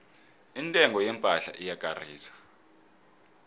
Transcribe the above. intengo yepahla ekarisako